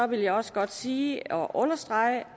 vil jeg også godt sige og understrege